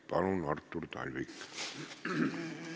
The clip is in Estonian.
Palun, Artur Talvik!